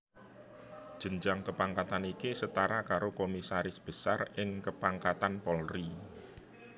Jenjang kepangkatan iki setara karo Komisaris Besar ing kepangkatan Polri